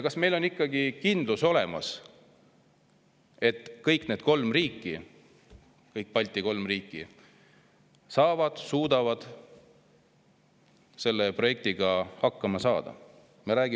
Kas meil on ikkagi olemas kindlus, et kõik need kolm riiki, kõik kolm Balti riiki saavad ja suudavad selle projektiga hakkama saada?